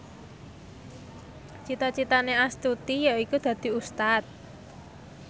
cita citane Astuti yaiku dadi Ustad